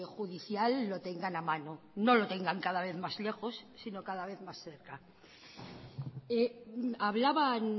judicial lo tengan a mano no lo tengan cada vez más lejos sino cada vez más cerca hablaban